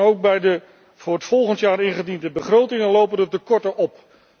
Ook bij de voor volgend jaar ingediende begrotingen lopen de tekorten op.